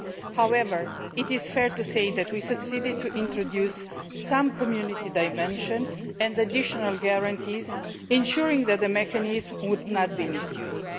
However, it is fair to say that we succeeded in introducing a degree of Community dimension and additional guarantees to ensure that the mechanism would not be misused.